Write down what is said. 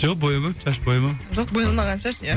жоқ боямаймын шаш боямаймын жоқ боялмаған шаш иә